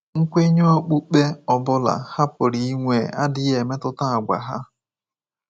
Nkwenye okpukpe ọ bụla ha pụrụ inwe adịghị emetụta àgwà ha.